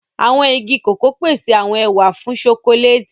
Awọn ìgi koko pese awọn ẹwà fún chọcòlati.